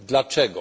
Dlaczego?